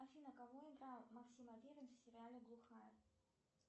афина кого играл максим аверин в сериале глухарь